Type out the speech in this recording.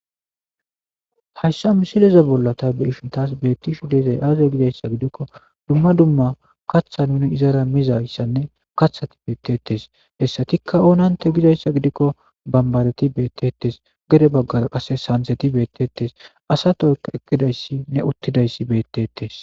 hayssa misileza bollata be ishin taas beettishu deezay aaze gidayssa gidikko dumma dumma kaththa nuni izara mizayssanne kathati beettetes hessatikka oonante gidayssa gidikko bambareti beettettes gede baggara qase sanseti beettetes asa toykka ekkidayssi ne uttidayssi beettetes